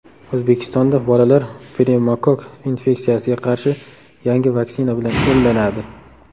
O‘zbekistonda bolalar pnevmokokk infeksiyasiga qarshi yangi vaksina bilan emlanadi.